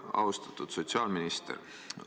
Austatud sotsiaalminister!